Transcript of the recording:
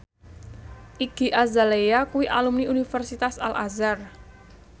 Iggy Azalea kuwi alumni Universitas Al Azhar